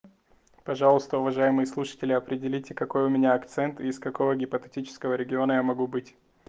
пожалуйста уважаемые слушатели определите какой у меня акцент и из какого гипотетического региона я могу быть